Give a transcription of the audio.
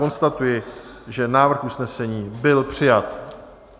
Konstatuji, že návrh usnesení byl přijat.